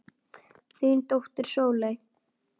Þín dóttir Sóley.